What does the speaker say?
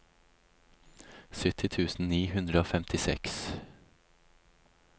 sytti tusen ni hundre og femtiseks